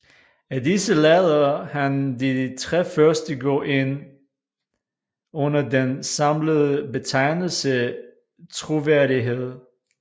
Af disse lader han de tre første gå ind under den samlede betegnelse troværdighed